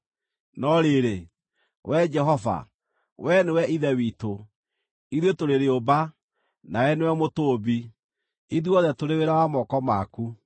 No rĩrĩ, Wee Jehova, wee nĩwe ithe witũ. Ithuĩ tũrĩ rĩũmba, nawe nĩwe mũtũũmbi; ithuothe tũrĩ wĩra wa moko maku.